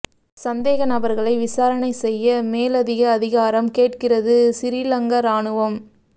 சந்தேக நபர்களை விசாரணை செய்ய மேலதிக அதிகாரம் கேட்கிறது சிறிலங்கா இராணுவம்